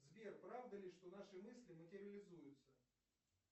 сбер правда ли что наши мысли материализуются